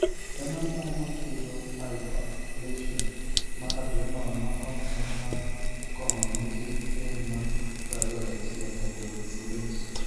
En ang'o makelo hyperplasia mar adrenal ma ok en mar kong'o nikech rem mar 21 hydroxylase?